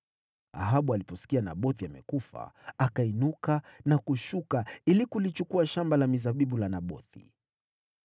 Ahabu aliposikia Nabothi amekufa, akainuka na kushuka ili kulichukua shamba la mizabibu la Nabothi.